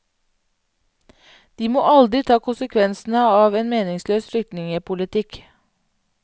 De må aldri ta konsekvensene av en meningsløs flyktningepolitikk.